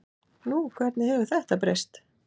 Nú, hvernig hefur þetta breyst?